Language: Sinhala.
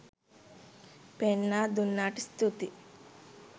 පෙන්නා දුන්නාට ස්තූතියි.